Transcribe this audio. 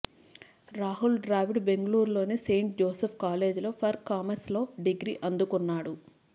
రాహుల్ ద్రావిడ్ బెంగళూరులోని saint Joseph college for commerce లో degree అందుకున్నాడు